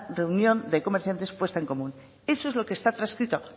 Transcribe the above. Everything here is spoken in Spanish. reunión de comerciantes puesto en común eso es lo que está transcrito